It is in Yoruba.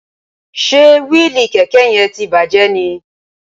Ṣe wíìlì kẹ̀kẹ́ yẹn ti bàjẹ́ ni?